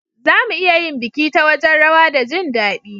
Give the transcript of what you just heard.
Za mu iya yin biki ta wajen rawa da jin dadi.